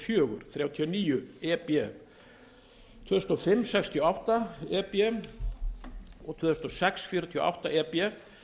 fjögur þrjátíu og níu e b tvö þúsund og fimm sextíu og átta e b og tvö þúsund og sex fjörutíu og átta e b